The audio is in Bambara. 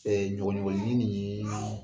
ɲɔɲɔɲɔgɔnin nin yee